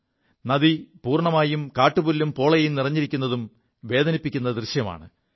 നദി പൂർണ്ണമായും കാുപുല്ലും പോളയും നിറഞ്ഞിരിക്കുത് വേദനിപ്പിക്കു ദൃശ്യമാണ്